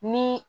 Ni